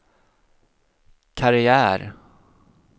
karriär